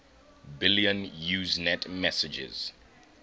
billion usenet messages